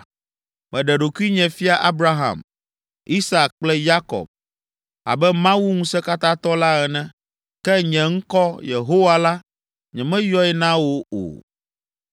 Meɖe ɖokuinye fia Abraham, Isak kple Yakob abe Mawu Ŋusẽkatãtɔ la ene, ke nye ŋkɔ, Yehowa la, nyemeyɔe na wo o.